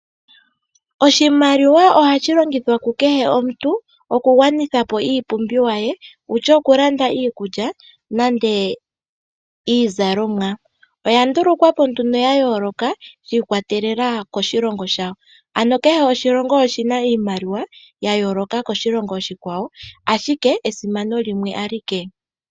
Oshimaliwa ohashi longithwa ku kehe omuntu okugwanitha po iipumbiwa ye, osho woo okulanda iikulya nenge iizalomwa, oya nduulukwa po nduno ya yooloka shi ikwatelela koshilonga shawo, ano kehe oshilongo oshi na iimaliwa ya yooloka koshilongo oshikwawo, ashike esimano limwe alike.